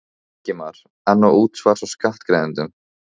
Ingimar: En á útsvars- og skattgreiðendum?